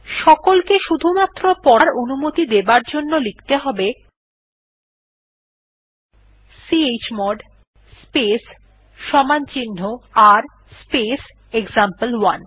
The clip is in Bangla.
সকলকে শুধুমাত্র পড়ার অনুমতি দেবার জন্য লিখতে হবে chmod space r space example one